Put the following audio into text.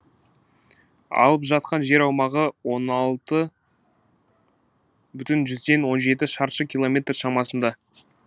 алып жатқан жер аумағы он алты бүтін жүзден он жеті шаршы киломметр шамасында